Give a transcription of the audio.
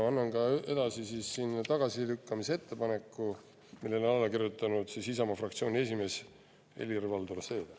Annan üle tagasilükkamise ettepaneku, millele on alla kirjutanud Isamaa fraktsiooni esimees Helir-Valdor Seeder.